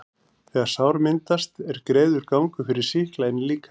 þegar sár myndast, er greiður gangur fyrir sýkla inn í líkamann.